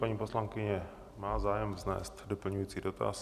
Paní poslankyně má zájem vznést doplňující dotaz.